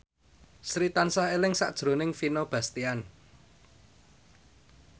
Sri tansah eling sakjroning Vino Bastian